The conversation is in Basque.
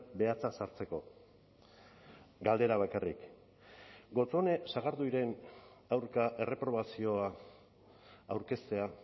behatza sartzeko galdera bakarrik gotzone sagarduiren aurka erreprobazioa aurkeztea